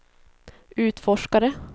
utforskare